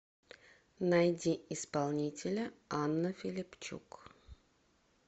найди исполнителя анна филипчук